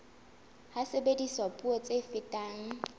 ha sebediswa puo tse fetang